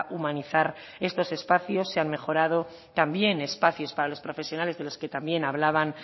humanizar estos espacios se han mejorado también espacios para los profesionales de los que también hablaban